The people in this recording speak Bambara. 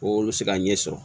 Ko olu bɛ se ka ɲɛ sɔrɔ